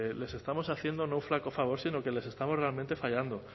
les estamos haciendo no un flaco favor sino que les estamos realmente fallando